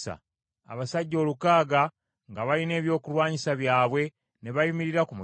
Abasajja olukaaga nga balina ebyokulwanyisa byabwe ne bayimirira ku mulyango.